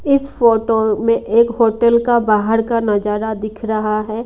इस फोटो में एक होटल का बाहर का नजारा दिख रहा है।